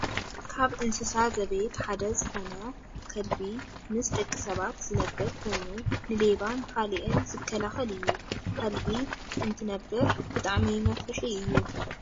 ካብ እንስሳ ዘቤት ሓደ ዝኮነ ከልሚ ምስ ደቂ ሰባት ዝነብር ኮይኑ ንሌባን ካልእን ዝከላከል እዩ። ከልቢ እንትነብሕ ብጣዕሚ መፍርሒ እዩ ።